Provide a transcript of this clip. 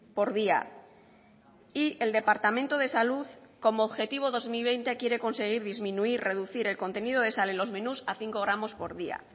por día y el departamento de salud como objetivo dos mil veinte quiere conseguir disminuir reducir el contenido de sal en los menús a cinco gramos por día